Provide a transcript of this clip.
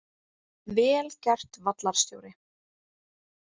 Vel gert vallarstjóri!